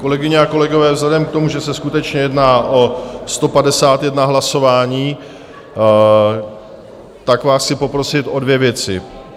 Kolegyně a kolegové, vzhledem k tomu, že se skutečně jedná o 151 hlasování, tak vás chci poprosit o dvě věci.